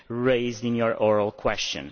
raised in your oral question.